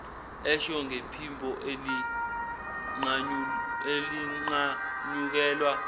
esho ngephimbo elinqanyukelwa